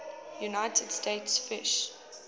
united states fish